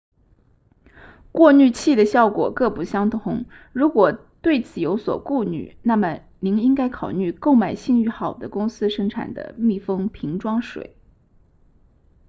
过滤器的效果各不相同如果对此有所顾虑那么您应该考虑购买信誉好的公司生产的密封瓶装水